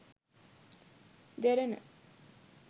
derana